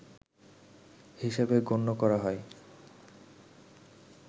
হিসেবে গণ্য করা হয়